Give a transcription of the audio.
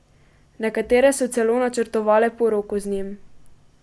Nekatere so celo načrtovale poroko z njim.